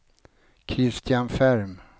Christian Ferm